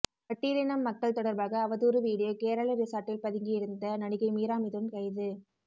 பட்டியலின மக்கள் தொடர்பாக அவதூறு வீடியோ கேரள ரிசார்ட்டில் பதுங்கியிருந்த நடிகை மீரா மிதுன் கைது